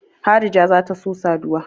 Harija za ta so saduwa.